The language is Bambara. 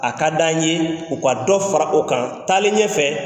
A ka d'an ye, u ka dɔ fara o kan. Taalen ɲɛfɛ